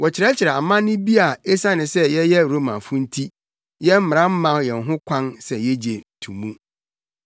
Wɔrekyerɛkyerɛ amanne bi a esiane sɛ yɛyɛ Romafo nti, yɛn mmara mma yɛn ho kwan sɛ yegye to mu.”